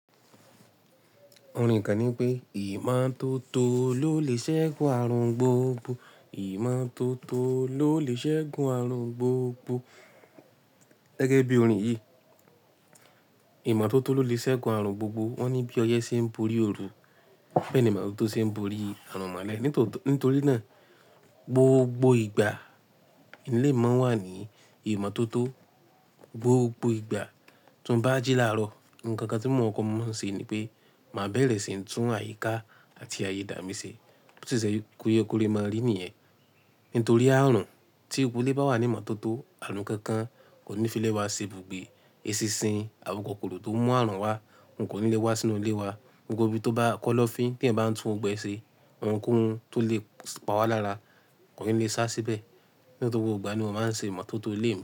Orin kan ní pé ìmọ́tótó ló lè ṣẹ́gun ààrùn gbogbo. Ìmọ́tótó ló lè ṣẹ́gun ààrùn gbogbo. Gẹ́gẹ́ bí orin yìí, ìmọ́tótó ló lè ṣẹ́gun ààrùn gbogbo. Wọ́n ní bí ọyẹ́ ṣe ń borí òru, bẹ́ẹ̀ ni ìmọ́tótó ṣe ń borí àrùn mọ́lẹ̀. Nítorí náà gbogbo ìgbà ní ilé mi mọa nwà ní ìmọ́tótó. Gbogbo ìgbà tímo bá jí laarọ, nkankan tí mò nkọ́kọ́ máa ń ṣe ni pé, máa bẹ̀rẹ̀ sí ń tún àyíká àti ayidà mí ṣe. Bó sì ṣe kóyékóré máa rí nìyẹn. Nítorí ààrùn tí gbogbo ilé bá wà ní ìmọ́tótó, ààrùn kankan kò ní fi lẹ́wà ṣe bùgbé. Esinṣin, àwon kokorò tó ń mú ààrùn wá, won kò ní lé wá sínú ilé wa. Gbogbo ibi tó bá kọ́lọ́fín t'eyan bá ń tún gbogbo ẹ ṣe, ohun kóhun tó lè pa wá lára kò ní lè sá síbẹ̀. Nítorí gbogbo ìgbà ni mò n máa ń ṣe ìmọ́tótó ilé mi.